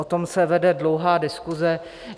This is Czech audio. O tom se vede dlouhá diskuse.